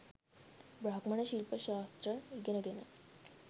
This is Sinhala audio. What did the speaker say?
බ්‍රාහ්මණ ශිල්ප ශාස්ත්‍ර ඉගෙනගෙන